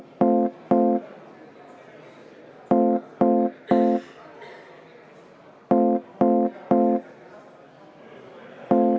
Aitäh!